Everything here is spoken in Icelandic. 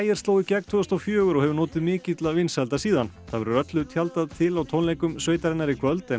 sló í gegn tvö þúsund og fjögur og hefur notið mikilla vinsælda síðan það verður öllu tjaldað til á tónleikum sveitarinnar í kvöld en